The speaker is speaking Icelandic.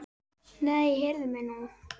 Nei, heyrðu mig nú!